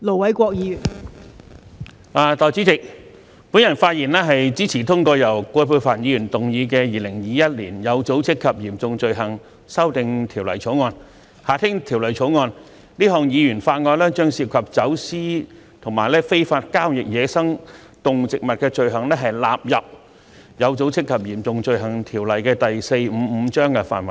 代理主席，我發言支持通過由葛珮帆議員動議的《2021年有組織及嚴重罪行條例草案》，這項議員法案將涉及走私與非法交易野生動植物的罪行，納入《有組織及嚴重罪行條例》範圍內。